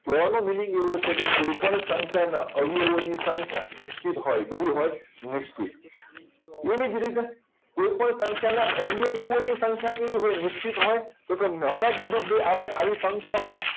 કહેવાનો meaning એવો છે કે કોઈપણ સંખ્યાના અવયવોની સંખ્યા નિશ્ચિત હોય કેવી હોય નિશ્ચિત એવી જ રીતે કોઈપણ સંખ્યા અવિયાવિયોની સંખ્યા કેવી હોય નિશ્ચિત હોય તો કે હમણાં જ કીધું કે આવી સંખ્યાઓ